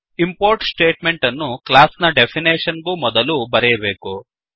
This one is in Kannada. ಇಂಪೋರ್ಟ್ ಸ್ಟೇಟ್ಮೆಂಟ್ ಅನ್ನು ಕ್ಲಾಸ್ ನ ಡೆಫಿನೇಷನ್ ಗೂ ಮೊದಲು ಬರೆಯಬೇಕು